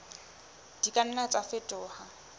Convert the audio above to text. di ka nna tsa fetoha